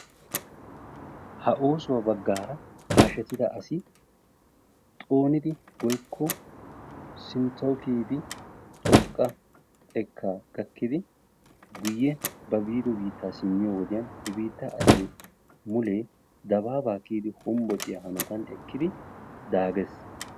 Ha oosuwaa baggaara hashshettida asi xoonidi woykko sinttawu kiiyidi xooqqa xeekkaa kiyidi guuyye ba biidi biittaa simiyoo wodiyaan he biittaa asay mulee dababaa kiyidi hombbociyaa hanotan ekkidi zaree.